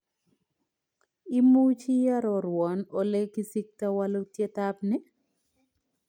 Imuchi iarorwan ole kisikta walutiet ab ni